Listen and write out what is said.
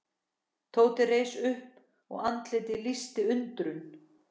Tóti reis upp og andlitið lýsti undrun.